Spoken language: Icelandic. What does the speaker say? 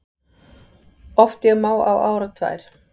Oft ég má á árar tvær